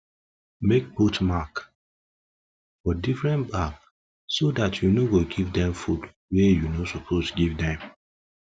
make put mark for different bag so that u no go give them the food wa you no suppose give them give them